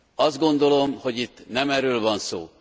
Azt gondolom, hogy itt nem erről van szó.